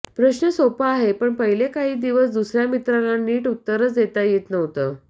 प्रश्न सोपा आहे पण पहिले काही दिवस दुसर्या मित्राला नीट उत्तरंच देता येत नव्हतं